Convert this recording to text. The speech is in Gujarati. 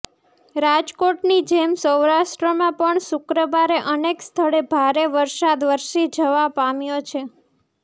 રાજકોટની જેમ સૌરાષ્ટ્રમાં પણ શુક્રવારે અનેક સ્થળે ભારે વરસાદ વરસી જવા પામ્યો છે